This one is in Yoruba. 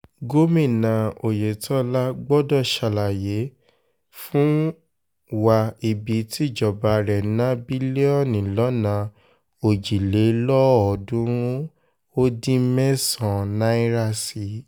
gomina oyetola gbọdọ̀ ṣàlàyé fún ṣàlàyé fún wa ibi tíjọba rẹ̀ ná bílíọ̀nù lọ́nà òjìlélọ́ọ̀ọ́dúnrún-ún ó dín mẹ́sàn-án náírà sí